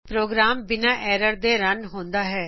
programme ਬਿਨਾ error ਤੋਂ run ਹੁੰਦਾ ਹੈ